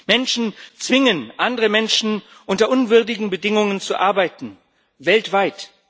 Menschen zwingen andere Menschen, unter unwürdigen Bedingungen zu arbeiten weltweit.